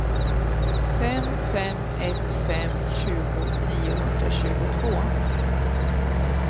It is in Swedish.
fem fem ett fem tjugo niohundratjugotvå